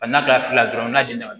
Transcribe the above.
A n'a ka fila fila dɔrɔn n'a jiginna